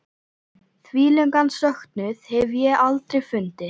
Þvílíkan söknuð hef ég aldrei fundið.